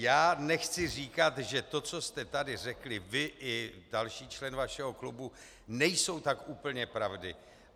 Já nechci říkat, že to, co jste tady řekli vy i další člen vašeho klubu, nejsou tak úplně pravdy.